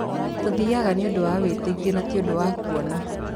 Tũthiaga nĩundũ wa wĩtĩkio na ti ũndũ wa kuona